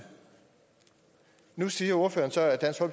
nu siger ordføreren så at